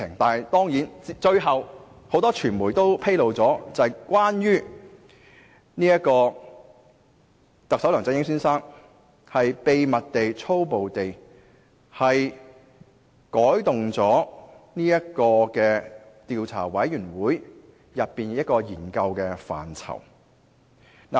但是，最終很多傳媒卻披露，特首梁振英先生秘密地、粗暴地改動了專責委員會的研究範疇。